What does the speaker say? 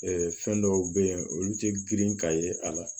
fɛn dɔw be yen olu ti girin ka ye a la